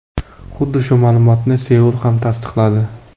Xuddi shu ma’lumotni Seul ham tasdiqladi.